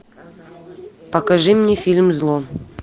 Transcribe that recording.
покажи мне фильм зло